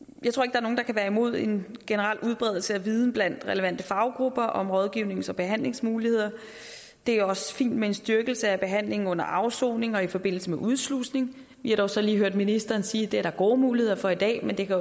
er nogen der kan være imod en generel udbredelse af viden blandt relevante faggrupper om rådgivnings og behandlingsmuligheder det er også fint med en styrkelse af behandlingen under afsoning og i forbindelse med udslusning vi har dog så lige hørt ministeren sige at det er der gode muligheder for i dag men det kan